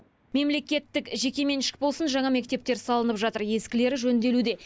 мемлекеттік жекеменшік болсын жаңа мектептер салынып жатыр ескілері жөнделуде